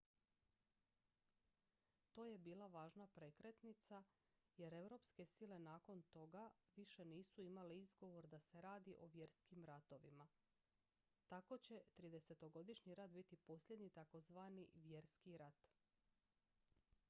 to je bila važna prekretnica jer europske sile nakon toga više nisu imale izgovor da se radi o vjerskim ratovima tako će tridesetogodišnji rat biti posljednji takozvani vjerski rat